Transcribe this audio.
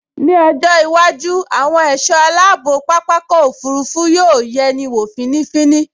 Ní ọjọ́ iwájú, àwọn ẹ̀ṣọ́ aláàbò pápákọ̀ òfurufú yóò yẹni wọ̀ fínífíní